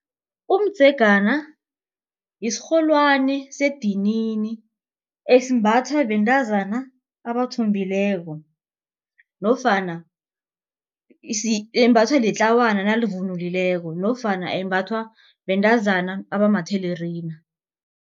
Umdzegana isirholwani sedinini esimbathwa bentazana abathombileko nofana imbathwa litlawana nalivunulileko nofana embathwa bentazana abamathelerina.